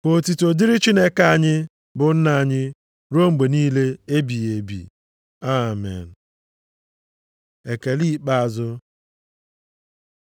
Ka otuto dịrị Chineke anyị, bụ Nna anyị, ruo mgbe niile ebighị ebi. Amen. Ekele ikpeazụ